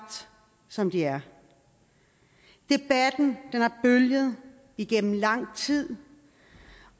som de er debatten har bølget igennem lang tid